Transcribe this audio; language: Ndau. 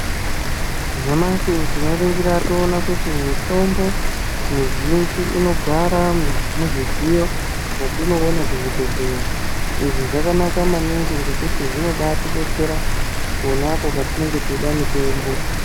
Nyamashi tinoringira toona kuti mitombo mizhinji inogara muzvidziyo mwetinoona kuzvibhedhlera. Izvi zvakanaka maningi ngekuti zvinobaatidetsera, pona apo petinenge teida mitombo.